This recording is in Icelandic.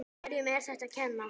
Hverjum er þetta að kenna?